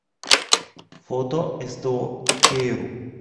фото сто печейру